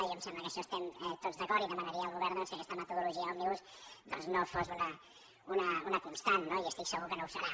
a mi em sembla que en això estem tots d’acord i demanaria al govern que aquesta metodologia òmnibus no fos una constant no i estic segur que no ho serà